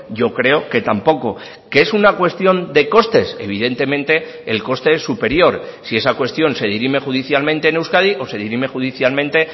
yo creo que tampoco qué es una cuestión de costes evidentemente el coste es superior si esa cuestión se dirime judicialmente en euskadi o se dirime judicialmente